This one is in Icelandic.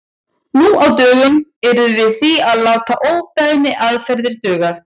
Nú á dögum yrðum við því að láta óbeinni aðferðir duga.